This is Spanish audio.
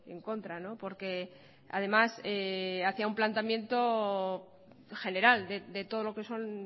en contra porque además hacía un planteamiento general de todo lo que son